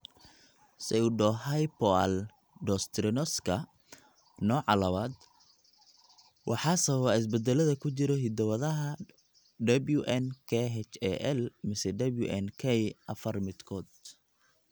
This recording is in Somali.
Pseudohypoaldosteroniska nooca labad waxaa sababa isbeddellada ku jira hiddo-wadaha WNKhal mise WNK afar midkood.